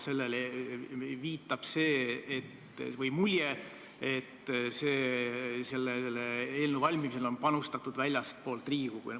Sellele viitab mulje, et selle eelnõu valmimisse on panustatud väljastpoolt Riigikogu.